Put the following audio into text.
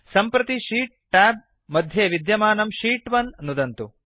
सम्प्रति sheet tab मध्ये विद्यमानं शीत् 1नुदन्तु